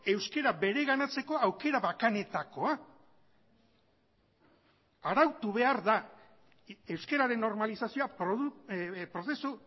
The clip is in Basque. euskara bereganatzeko aukera bakanetakoa arautu behar da euskararen normalizazioa prozesu